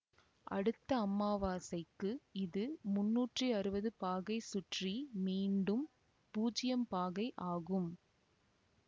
அடுத்த அமாவாசைக்கு இது முன்னூற்றி அறுவது பாகை சுற்றி மீண்டும் பூஜ்யம் பாகை ஆகும்